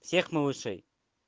всех малышей